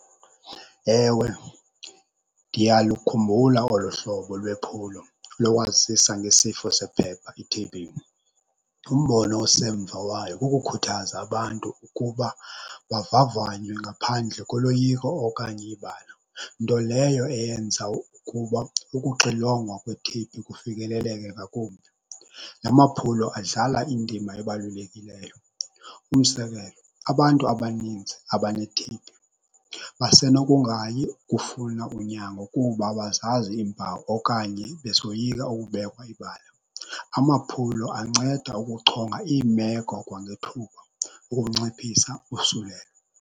Ewe, ndiyalukhumbula olo hlobo lwephulo lokwazisa ngesifo sephepha i-T_B. Umbono osemva wayo kukukhuthaza abantu ukuba bavavanywe ngaphandle koloyiko okanye ibala, nto leyo eyenza ukuba ukuxilongwa kwe-T_B kufikeleleke ngakumbi. La maphulo adlala indima ebalulekileyo. Umzekelo, abantu abaninzi abane-T_B basenokungayi kufuna unyango kuba abazazi iimpawu okanye besoyika ukubekwa ibala. Amaphulo anceda ukuchonga iimeko kwangethuba ukunciphisa usulelo.